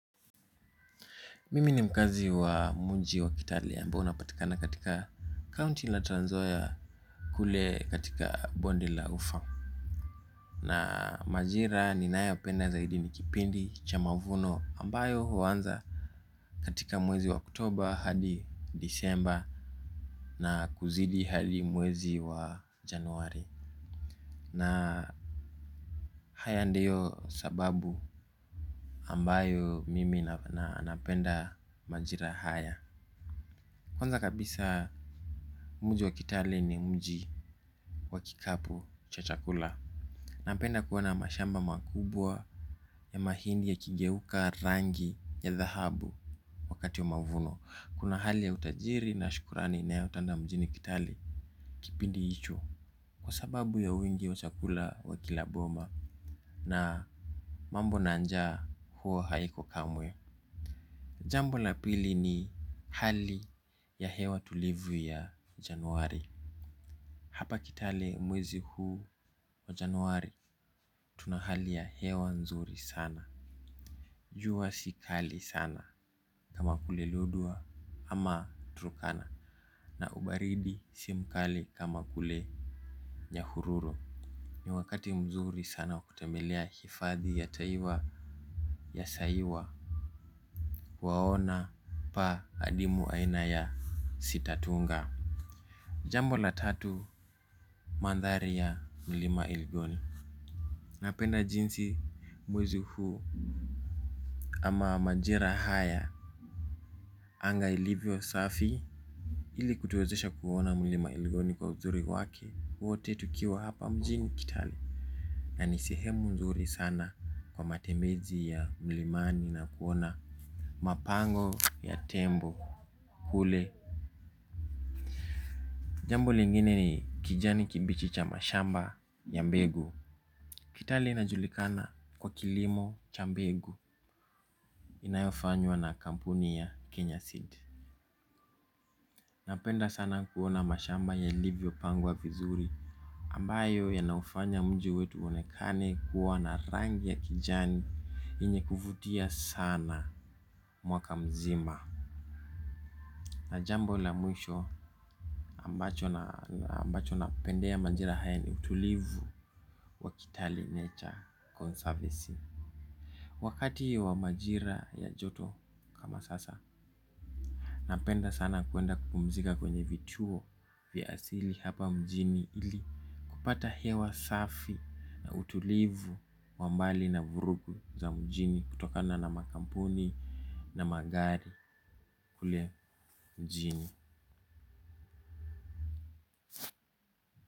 Mimi ni mkazi wa muji wa kitale ambao unapatikana katika county la tranzoya kule katika bonde la ufangu. Na majira ni nayo penda zaidi ni kipindi cha mavuno ambayo huwanza katika mwezi wa oktoba hadi disemba na kuzidi hali mwezi wa januari. Na haya ndiyo sababu ambayo mimi na napenda majira haya. Kwanza kabisa mji wa kitale ni mji wa kikapu cha chakula. Na penda kuona mashamba makubwa ya mahindi ya kigeuka rangi ya dhahabu wakati wa mavuno. Kuna hali ya utajiri na shukurani inayotanda mjini kitali kipindi ichu. Kwa sababu ya wingi wa chakula wa kilaboma na mambo nanjaa hua haiko kamwe. Jambo na pili ni hali ya hewa tulivu ya januari. Hapa kitale mwezi huu wa januari tuna hali ya hewa nzuri sana. Jua si kali sana kama kule lodwa ama turukana na ubaridi simkali kama kule nyhururu ni wakati mzuri wa kutembelea hifadhi ya saiwa. Waona pa adimu aina ya sitatunga. Jambo la tatu mandhari ya milima elgoni napenda jinsi mwezi huu. Ama majira haya anga ilivyo safi. Ili kutuwezesha kuona mlima eligoni kwa uzuri wake. Wote tukiwa hapa mjini kitale na ni sehemu uzuri sana kwa matembezi ya mlimani na kuona mapango ya tembo kule. Jambo lingine ni kijani kibichi cha mashamba ya mbegu. Kitali inajulikana kwa kilimo cha mbegu. Inayofanywa na kampuni ya Kenya Seed. Napenda sana kuona mashamba yalivyo pangwa vizuri ambayo yanaufanya mji wetu uonekane kuwa na rangi ya kijani yenye kuvutia sana mwaka mzima. Najambo la mwisho ambacho napendea majira haya ni utulivu wa kitale nature conservancy. Wakati wa majira ya joto kama sasa napenda sana kuenda kupumzika kwenye vituo vya asili hapa mjini ili kupata hewa safi na utulivu wa mbali na vurugu za mjini kutokana na makampuni na magari kule mjini.